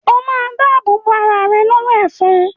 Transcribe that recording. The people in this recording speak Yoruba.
O ma dáàbò bo arà rẹ lọ́wọ́ “ ẹ̀fọn”.